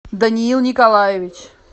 даниил николаевич